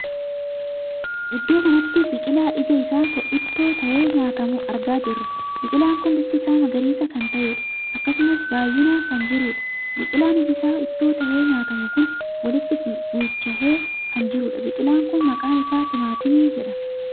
Iddoo kanatti biqilaa iji isaa ittoo tahee nyaatamuu argaa jirra. biqilaa kun bifti isaa magariisa kan tahedha. akkasumas baay'inaan kan jiruudha. biqilaan iji isaa ittoo tahee nyaatamu kun walitti guujjahee kan jirudha. biqilaan Kun maqaan isaa timaatimii jedhama.